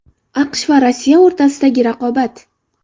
AQSh va Rossiya o‘rtasidagi raqobat.